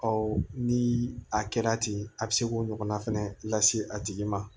ni a kɛra ten a bɛ se k'o ɲɔgɔnna fɛnɛ lase a tigi ma